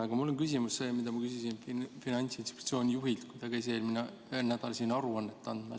Aga mul on sama küsimus, mida ma küsisin Finantsinspektsiooni juhilt, kui ta käis eelmisel nädalal siin aruannet esitamas.